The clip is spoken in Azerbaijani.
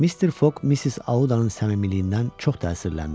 Mr. Fog Missis Audanın səmimiyyətindən çox təsirləndi.